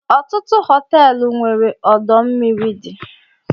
Ọtụtụ Họteelu nwere ọdọ mmiri dị